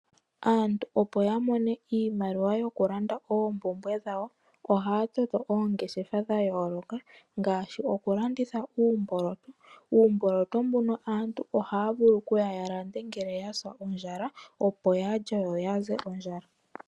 Aantu opo ya mone iimaliwa yokulanda oompumbwe dhawo, ohaya toto oongeshefa dha yooloka, ngaashi okulanditha uumboloto. Uumboloto mbuno aantu ohaya vulu kuya ya lande uuna ya sa ondjala, opo ya lye yo ya ze ondjala.